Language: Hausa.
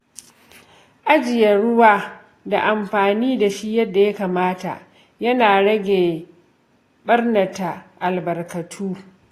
Ajiye ruwa da amfani da shi yadda ya kamata yana rage ɓarnata albarkatu.